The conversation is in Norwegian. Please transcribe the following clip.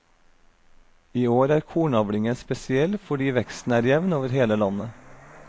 I år er kornavlingen spesiell fordi veksten er jevn over hele landet.